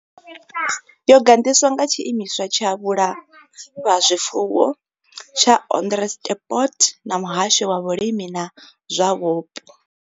Yo gandiswa nga Tshiimiswa tsha Vhulafha zwifuwo tsha Onderstepoort na Muhasho wa Vhulimi na zwa Vhupo.